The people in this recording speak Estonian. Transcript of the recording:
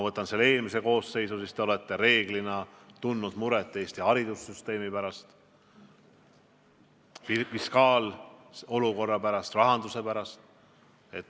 Eelmises koosseisus te olete reeglina tundnud muret Eesti haridussüsteemi pärast, fiskaalolukorra pärast, rahanduse pärast.